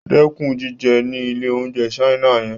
Dẹ́kun jíjẹ ní ilé-oúnjẹ China yẹn.